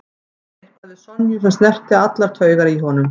Það var eitthvað við Sonju sem snerti allar taugar í honum.